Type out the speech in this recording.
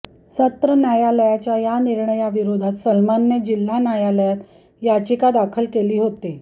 सत्र न्यायालयाच्या या निर्णयाविरोधात सलमानने जिल्हा न्यायालयात याचिका दाखल केली होती